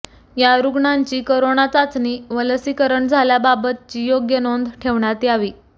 या रुग्णांची करोना चाचणी व लसीकरण झाल्याबाबतची योग्य नोंद ठेवण्यात यावी